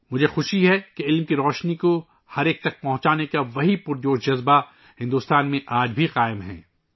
مجھے خوشی ہے کہ تعلیم کی روشنی کو عوام تک پہنچانے کا وہی متحرک جذبہ آج بھی ہندوستان میں جاری ہے